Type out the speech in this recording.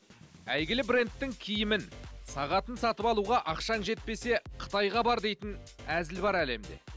әйгілі брендтің киімін сағатын сатып алуға ақшаң жетпесе қытайға бар дейтін әзіл бар әлемде